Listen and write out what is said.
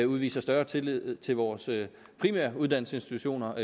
udviser større tillid til vores primære uddannelsesinstitutioner